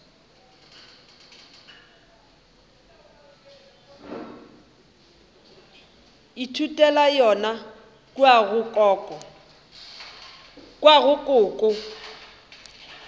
ithutela yona kua go koko